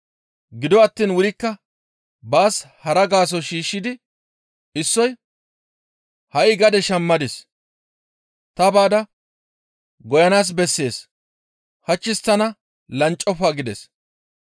Gido attiin wurikka baas hara gaaso shiishshidi issoy, ‹Ha7i gade shammadis; ta baada beyanaas bessees; hachchis tana lanccofa› gides.